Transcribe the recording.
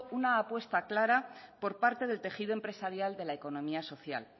una apuesta clara por parte del tejido empresarial de la economía social